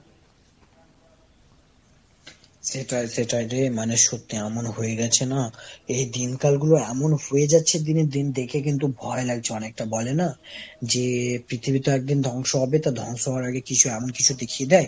সেটাই সেটাই রে মানে সত্যি। এমন হয়ে গেছে না, এই দিনকাল গুলো এমন হয়ে যাচ্ছে দিনের দিন দেখে কিন্তু ভয় লাগছে অনেকটা। বলে না, যে পৃথিবীতে একদিন ধ্বংস হবে তো ধ্বংস হওয়ার আগে কিছু এমন কিছু দেখিয়ে দেয়?